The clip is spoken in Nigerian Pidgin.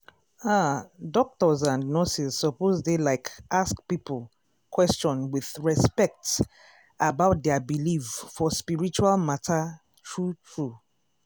ah doctors and nurses suppose dey like ask people question with respect about dia believe for spiritual matter true true.